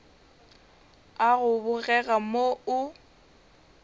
a go bogega mo o